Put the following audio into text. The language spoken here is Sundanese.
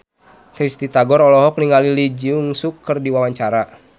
Risty Tagor olohok ningali Lee Jeong Suk keur diwawancara